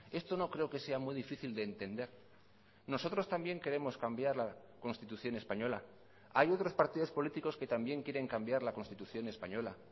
esto no creo que sea muy difícil de entender nosotros también queremos cambiar la constitución española hay otros partidos políticos que también quieren cambiar la constitución española